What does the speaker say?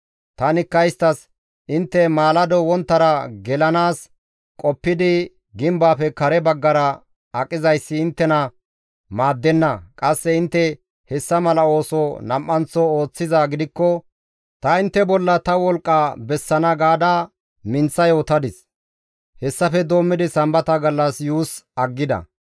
Tanikka isttas, «Intte maalado wonttara gelanaas qoppidi gimbaafe kare baggara aqizayssi inttena maaddenna; qasse intte hessa mala ooso nam7anththo ooththizaa gidikko ta intte bolla ta wolqqa bessana» gaada minththa yootadis; hessafe doommidi Sambata gallas yuus aggida.